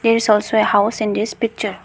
there is also a house in this picture.